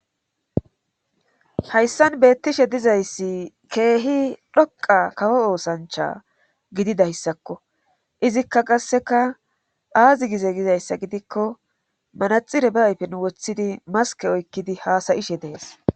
Hayssan beettishe dizayssi keehi dhoqa kawo oosancha gididayssakko izikka qasseka aazi gize gizayssa gidikko manaxire baaypen woththidi maske oykkidi haasayishe dees